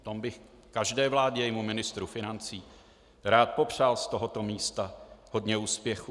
V tom bych každé vládě a jejímu ministru financí rád popřál z tohoto místa hodně úspěchů.